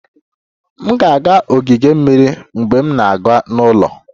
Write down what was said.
M ga-aga ogige mmiri mgbe m na-aga n'ụlọ